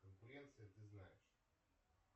конкуренция ты знаешь